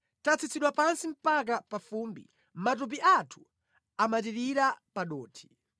Tatsitsidwa pansi mpaka pa fumbi; matupi athu amatirira pa dothi.